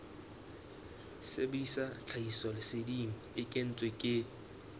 sebedisa tlhahisoleseding e kentsweng ke